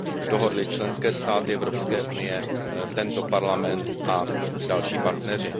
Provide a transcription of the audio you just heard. dohodly členské státy Evropské unie, tento Parlament a další partneři.